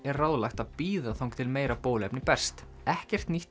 er ráðlagt að bíða þangað til meira bóluefni berst ekkert nýtt